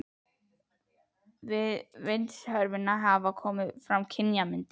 Við vindsvörfunina hafa komið fram kynjamyndir.